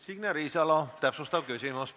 Signe Riisalo, täpsustav küsimus, palun!